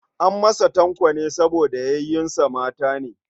An masa Tanko ne saboda yayunsa mata ne.